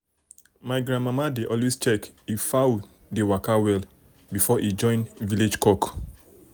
my grandmama dey always check if fowl dey waka well before e join village cock.